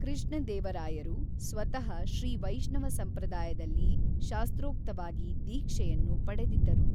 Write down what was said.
ಕೃಷ್ಣದೇವರಾಯರು ಸ್ವತಃ ಶ್ರೀ ವೈಷ್ಣವ ಸಂಪ್ರದಾಯದಲ್ಲಿ ಶಾಸ್ತ್ರೋಕ್ತವಾಗಿ ದೀಕ್ಷೆಯನ್ನು ಪಡೆದಿದ್ದರು.